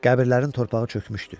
Qəbirlərin torpağı çökmüşdü.